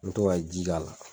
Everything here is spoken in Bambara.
N bi to ka ji k'a la.